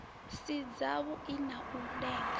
si dzavhui na u lenga